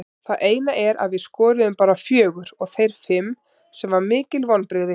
Það eina er að við skoruðum bara fjögur og þeir fimm sem var mikil vonbrigði.